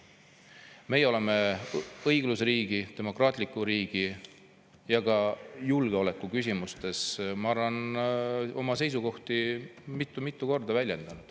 Meie oleme õigusriigi, demokraatliku riigi ja ka julgeoleku küsimustes, ma arvan, oma seisukohti mitu-mitu korda väljendanud.